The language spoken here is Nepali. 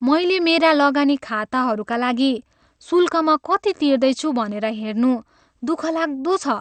मैले मेरा लगानी खाताहरूका लागि शुल्कमा कति तिर्दैछु भनेर हेर्नु दुःखलाग्दो छ।